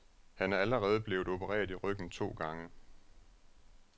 Han er allerede blevet opereret i ryggen to gange.